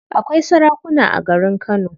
Akwai sarakuna a garin kano.